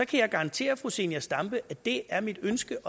kan jeg garantere fru zenia stampe at det er mit ønske